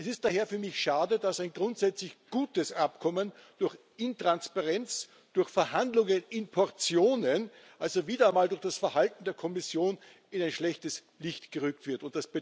Es ist daher für mich schade, dass ein grundsätzlich gutes Abkommen durch Intransparenz, durch Verhandlungen in Portionen also wieder mal durch das Verhalten der Kommission in ein schlechtes Licht gerückt wird.